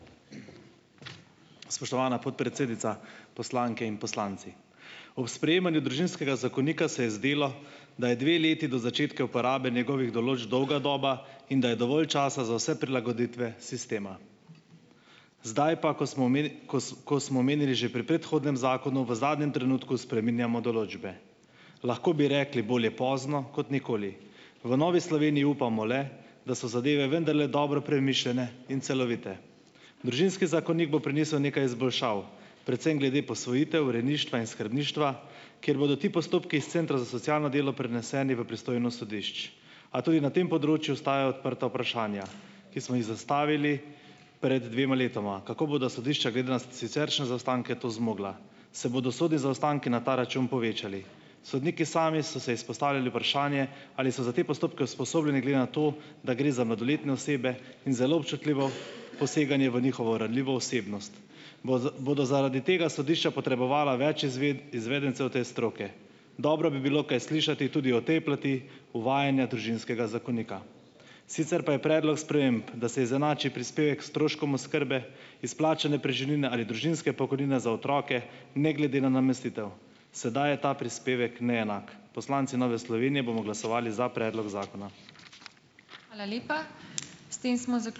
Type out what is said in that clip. Spoštovana podpredsednica, poslanke in poslanci! Ob sprejemanju družinskega zakonika se je zdelo, da je dve leti do začetka uporabe njegovih določb dolga doba in da je dovolj časa za vse prilagoditve sistema. Zdaj pa, ko smo kos ko smo omenili že pri predhodnem zakonu, v zadnjem trenutku spreminjamo določbe. Lahko bi rekli, bolje pozno kot nikoli. V Novi Sloveniji upamo le, da so zadeve vendarle dobro premišljene in celovite. Družinski zakonik bo prinesel nekaj izboljšav. Predvsem glede posvojitev, rejništva in skrbništva, kjer bodo ti postopki s centra za socialno delo preneseni v pristojnost sodišč. A tudi na tem področju ostajajo odprta vprašanja, ki smo jih zastavili pred dvema letoma. Kako bodo sodišča glede na siceršnje zaostanke to zmogla? Se bodo sodi zaostanki na ta račun povečali? Sodniki sami so se izpostavili vprašanje, ali so za te postopke usposobljeni, glede na to, da gre za mladoletne osebe in zelo občutljivo poseganje v njihovo ranljivo osebnost. Bodo zaradi tega sodišča potrebovala več izvedencev te stroke? Dobro bi bilo kaj slišati tudi o tej plati uvajanja družinskega zakonika. Sicer pa je predlog sprememb, da se izenači prispevek stroškom oskrbe, izplačane preživnine ali družinske pokojnine za otroke ne glede na namestitev. Sedaj je ta prispevek neenak. Poslanci Nove Slovenije bomo glasovali za predlog zakona.